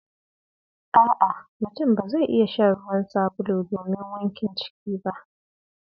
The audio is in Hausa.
A'a! Mutum ba zai iya shan ruwan sabulu domin wankin ciki ba.